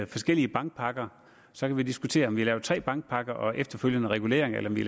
forskellige bankpakker så kan vi diskutere om vi har lavet tre bankpakker og efterfølgende regulering eller om vi